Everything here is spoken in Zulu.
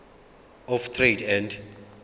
of trade and